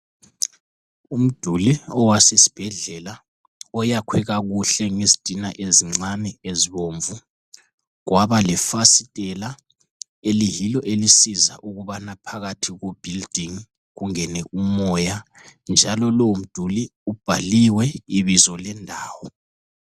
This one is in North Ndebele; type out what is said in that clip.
Umduli owasesibhedlela oyakhwe kakuhle ngezitina ezincane ezibomvu kwabalefasitela eliyilo elisiza ukubana phakathi kubuilding kungene umoya njalo lowo mduli ubhaliwe ibizo lendawo.